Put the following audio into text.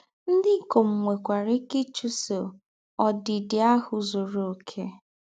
Ndí́ íkòm nwẹ́kwara íké ịchúsọ̀ “ǒdị́dị̀ áhụ́ zúrù ọ̀kè.”